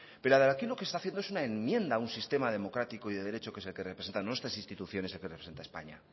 pero aquí lo que está haciendo es una enmienda a un sistema democrático y de derecho que es el que representa nuestras instituciones y que representa a españa